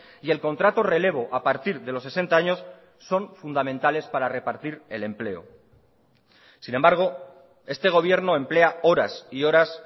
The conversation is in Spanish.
y el contrato relevo a partir de los sesenta años son fundamentales para repartir el empleo sin embargo este gobierno emplea horas y horas